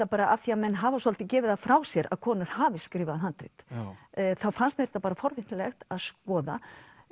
bara af því menn hafa svolítið gefið það frá sér að konur hafi skrifað handrit þá fannst mér þetta bara forvitnilegt að skoða